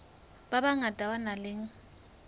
ba bangata ba nang le